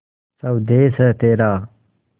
स्वदेस है तेरा